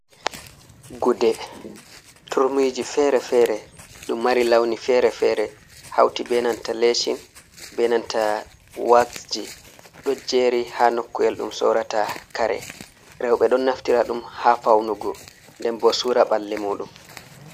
Gude, turmiji fere fere ɗum mari launi fere fere hauti benanta leshin benanta waxji ɗo jeri ha nokku’el ɗum sorata kare, roɓe don naftira ɗum ha faunugo, nden bo sura ɓalli muɗum.